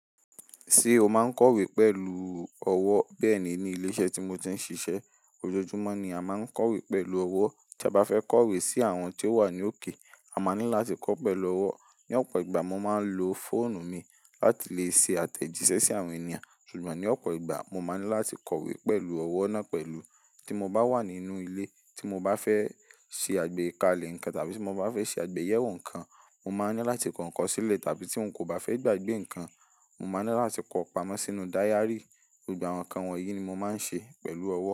Ṣé o máa ń kọ̀wé pẹ̀lú ọwọ́? Bẹ́ẹ̀ ni, ní ilé iṣẹ́ tí mo ti ń ṣiṣẹ́, ojoojúmọ́ ni a máa ń kọ̀wé pẹ̀lú ọwọ́. Tí a bá fẹ́ kọ̀wé sí àwọn tó wà ní òkè, a máa ní láti kọ́ pẹ̀lú ọwọ́. Ni ọ̀pọ̀ ìgbà, mo máa ń lo fóònù mi láti lè ṣe àtẹ̀jíṣẹ́ sí àwọn ènìyàn. Ṣùgbọ́n ní ọ̀pọ̀ ìgbà, mo máa ní láti kọ̀wé pẹ̀lú ọwọ́ náà pẹ̀lú. Tí mo bá wà nínú ilé, tí mo bá fẹ́ ṣe àgbékalẹ̀ nǹkan tàbí tí mo bá fẹ́ ṣe àgbéyẹ̀wò nǹkan, mo máa ní láti kọ́ ǹkan sílẹ̀ tàbí tí mo kò bá fẹ́ gbàgbé nǹkan, mo máa ní láti kọ́ pamọ́ sínú dayárì. Gbogbo àwọn nǹkan wọ̀nyí ni mo máa ń ṣe pẹ̀lú ọwọ́.